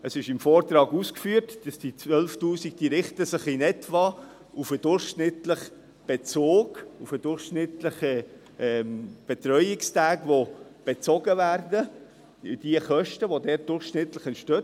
Es ist im Vortrag ausgeführt, dass sich diese 12’000 Franken in etwa nach dem durchschnittlichen Bezug richten, auf die durchschnittlichen Betreuungstage, die bezogen werden – die Kosten, die dabei durchschnittlich entstehen.